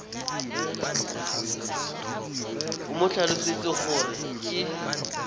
o mo tlhalosetse gore ke